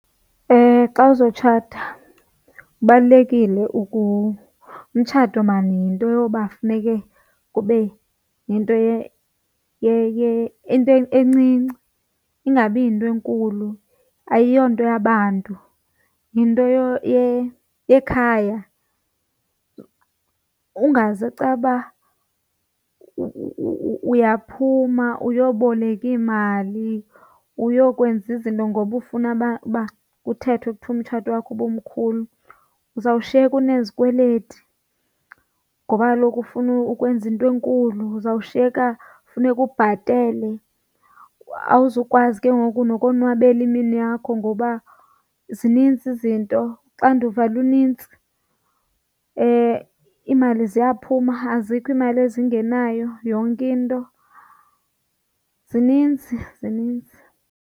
Xa uzotshata kubalulekile umtshato maan yinto yoba funeke kube yinto encinci ingabi yinto enkulu. Ayiyonto yabantu yinto yekhaya ungaze caba uyaphuma uyoboleka iimali uyokwenza izinto ngoba ufuna uba kuthethwe kuthiwe umtshato wakho ubumkhulu. Uzawushiyeka unezikweleti ngoba kaloku ufuna ukwenza into enkulu uzawushiyeka funeka ubhatele awuzukwazi ke ngoku nokonwabela imini yakho ngoba zinintsi izinto uxanduva lunintsi, iimali ziyaphuma azikho iimali ezingenayo yonke into zininzi zininzi.